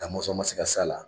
Da Mɔnsɔn ma se ka s'a la.